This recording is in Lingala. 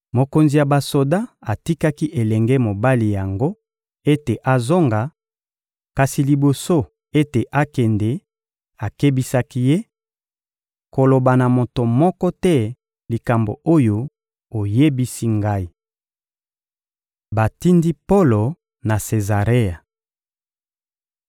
Mokonzi ya basoda atikaki elenge mobali yango ete azonga; kasi liboso ete akende, akebisaki ye: — Koloba na moto moko te likambo oyo oyebisi ngai. Batindi Polo na Sezarea